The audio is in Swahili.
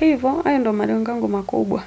hivyo, ayo ndo malengo yangu makubwa.